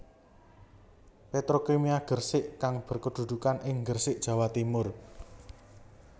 Petrokimia Gresik kang berkedudukan ing Gresik Jawa Timur